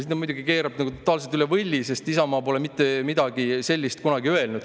" Siin ta muidugi keerab kõik totaalselt üle võlli, sest Isamaa pole mitte midagi sellist kunagi öelnud.